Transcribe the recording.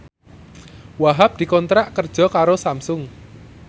Wahhab dikontrak kerja karo Samsung